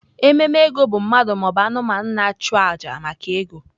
Ememe ego bụ mmadụ ma ọ bụ anụmanụ na-achụ àjà maka ego.